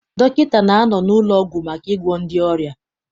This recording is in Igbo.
Dọkịta na-anọ n'ụlọọgwụ maka ịgwọ ndị ọrịa.